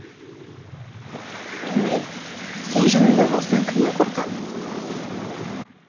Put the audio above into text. жанел сен жанымда болсаң кімнен қорқам